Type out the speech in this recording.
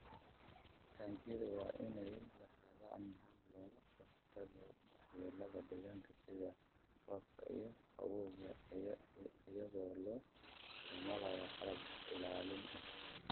Taangiyada waa inay lahaadaan habab looga hortago waxyeelada deegaanka sida roobka iyo qabowga iyadoo la isticmaalayo qalab ilaalin ah.